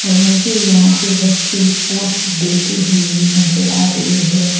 और मुझे यहां पे बच्चे पोज देते हुए भी नजर आ रहे हैं।